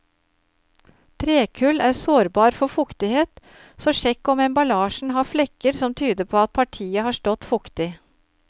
Trekull er sårbar for fuktighet, så sjekk om emballasjen har flekker som tyder på at partiet har stått fuktig.